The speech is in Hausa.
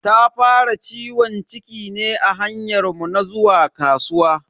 Ta fara ciwon ciki ne a hanyar mu na zuwa kasuwa.